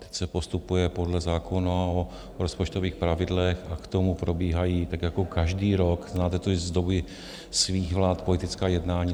Teď se postupuje podle zákona o rozpočtových pravidlech a k tomu probíhají tak jako každý rok - znáte to i z doby svých vlád - politická jednání.